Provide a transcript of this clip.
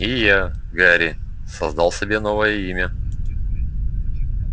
и я гарри создал себе новое имя